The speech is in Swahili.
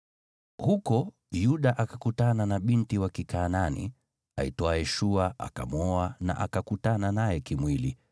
Huko Yuda akakutana na binti wa Kikanaani aitwaye Shua, akamwoa na akakutana naye kimwili,